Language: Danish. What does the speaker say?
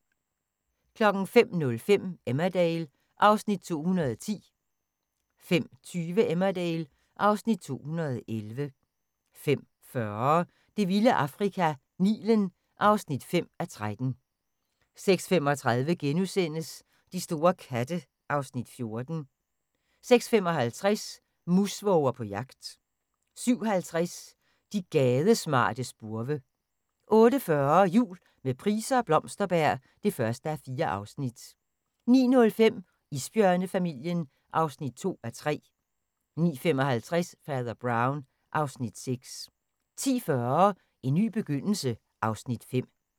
05:00: Emmerdale (Afs. 210) 05:20: Emmerdale (Afs. 211) 05:40: Det vilde Afrika - Nilen (5:13) 06:35: De store katte (Afs. 14)* 06:55: Musvåger på jagt 07:50: De gadesmarte spurve 08:40: Jul med Price og Blomsterberg (1:4) 09:05: Isbjørnefamilien (2:3) 09:55: Fader Brown (Afs. 6) 10:40: En ny begyndelse (Afs. 5)